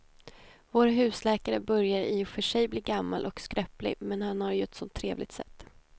Vår husläkare börjar i och för sig bli gammal och skröplig, men han har ju ett sådant trevligt sätt!